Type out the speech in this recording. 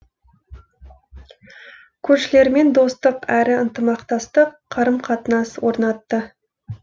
көршілермен достық әрі ынтымақтастық қарым қатынас орнатты